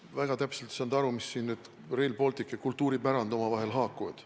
Väga täpselt ei saanud aru, mismoodi siin nüüd Rail Baltic ja kultuuripärand omavahel haakuvad.